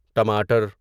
ٹماٹر